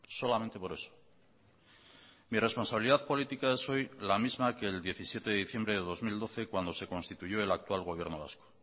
solamente por eso mi responsabilidad política es hoy la misma que el diecisiete de diciembre de dos mil doce cuando se constituyó el actual gobierno vasco